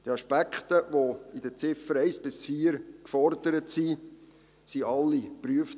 Die Aspekte, die mit den Ziffern 1 bis 4 gefordert sind, wurden alle geprüft.